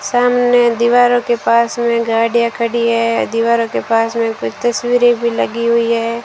सामने दीवारों के पास में गाड़ियां खड़ी है दीवारों के पास में कुछ तस्वीरें भी लगी हुई है।